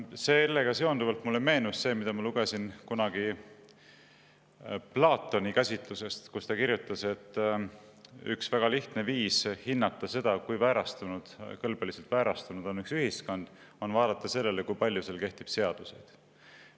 Sellega seonduvalt mulle meenus see, mida ma lugesin kunagi Platoni käsitlusest, kus ta kirjutas, et üks väga lihtne viis hinnata seda, kui kõlbeliselt väärastunud on üks ühiskond, on vaadata, kui palju seal kehtib seaduseid.